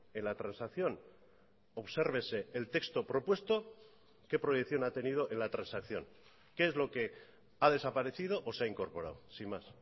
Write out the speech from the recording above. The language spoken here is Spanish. en la transacción obsérvese el texto propuesto qué proyección ha tenido en la transacción qué es lo que ha desaparecido o se ha incorporado sin más